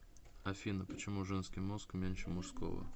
афина почему женский мозг меньше мужского